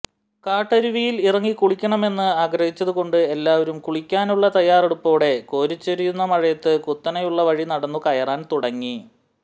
കാട്ടരുവിയിൽ ഇറങ്ങി കുളിക്കണമെന്ന് ആഗ്രഹിച്ചതുകൊണ്ട് എല്ലാവരും കുളിക്കാനുളള തയ്യാറെടുപ്പോടെ കോരിചൊരിയുന്ന മഴയത്ത് കുത്തനെയുളള വഴി നടന്നു കയറാൻ തുടങ്ങി